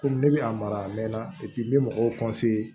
Komi ne bɛ a mara a mɛnna n bɛ mɔgɔw